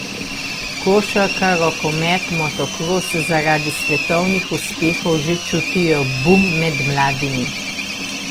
Košarka, rokomet, motokros zaradi svetovnih uspehov že čutijo bum med mladimi.